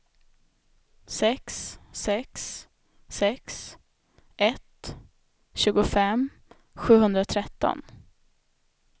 sex sex sex ett tjugofem sjuhundratretton